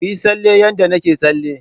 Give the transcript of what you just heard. Kuyi tsalle yanda nake tsalle.